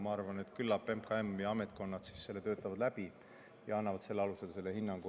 Ma arvan, et küllap MKM ja ametkonnad töötavad selle läbi ja annavad selle alusel hinnangu.